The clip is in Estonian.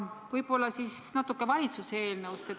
Võib-olla natukene valitsuse eelnõust.